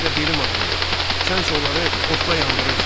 Hələ də belim ağrıyır, sənsə onları odda yandırırsan.